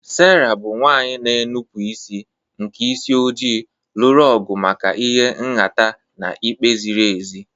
Sera, bụ́ nwanyị na-enupụ isi nke isi ojii, lụrụ ọgụ maka ịha nhata na ikpe ziri ezi.